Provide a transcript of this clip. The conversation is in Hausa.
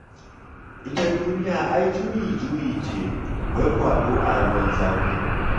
Ita duniya ai juyi-juyi ce, wai kwaɗo a ruwan zafi.